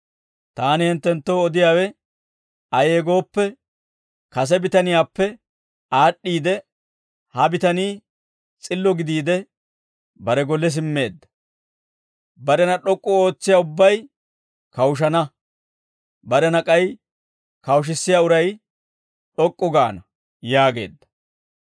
Taani hinttenttoo odiyaawe ayee gooppe, kase bitaniyaappe aad'd'iide ha bitanii s'illo gidiide bare golle simmeedda; barena d'ok'k'u ootsiyaa ubbay kawushana; barena k'ay kawushissiyaa uray d'ok'k'u gaana» yaageedda.